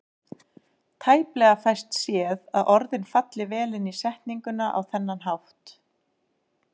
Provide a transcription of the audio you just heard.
Tæplega fæst séð að orðin falli vel inn í setninguna á þennan hátt.